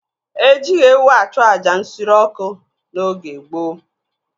Ejighị ewu achụ àjà nsure ọkụ n'oge gboo.